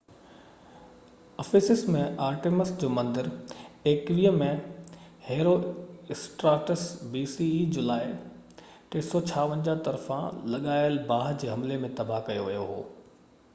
Ephesus ۾ Artemis جو مندر 21 جولائي 356 bce ۾ هيرواسٽراٽس طرفان لڳايل باه جي حملي ۾ تباه ڪيو ويو هو